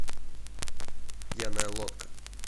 пьяная лодка